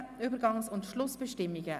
13 Übergangs- und Schlussbestimmungen